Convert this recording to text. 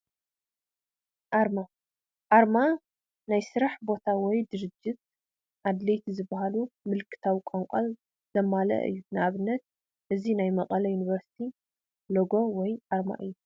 ኣርማ፡- ኣርማ ናይ ስራሕ ቦታ ወይ ድርጅት ኣድለይቲ ዝባሃሉ ምልካታዊ ቋንቋን ዘማልአ እዩ፡፡ ንኣብነት እዚ ናይ መቐለ ዩኒቨርስቲ ሎጎ ወይ ኣርማ እዩ፡፡